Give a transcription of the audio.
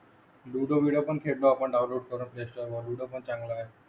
ludo बिडो पण खेळलो आपण डाऊनलोड करून प्लेस्टोर वरून लुडो पण चांगला आहे